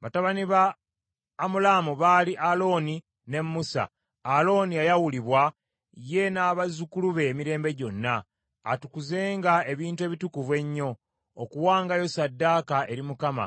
Batabani ba Amulaamu baali Alooni ne Musa. Alooni yayawulibwa, ye n’abazzukulu be emirembe gyonna, atukuzenga ebintu ebitukuvu ennyo, okuwangayo ssaddaaka eri Mukama ,